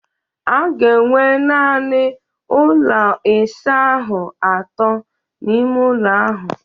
A ga-enwe naanị ụlọ ịsa ahụ atọ n'ime ụlọ ahụ